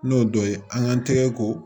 N'o dɔ ye an k'an tɛgɛ ko